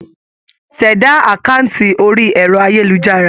Ṣẹ̀dá àkáǹtì orí ẹ̀rọ-ayélujára.